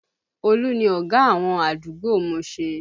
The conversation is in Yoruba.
Olu ni ọ̀gá àwọn àdúgbò Mushin